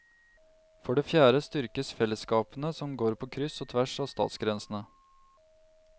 For det fjerde styrkes fellesskapene som går på kryss og tvers av statsgrensene.